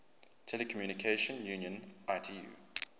telecommunication union itu